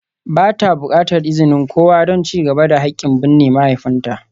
Ba ta buƙatar izinin kowa don ci gaba da haƙƙin binne mahaifinta.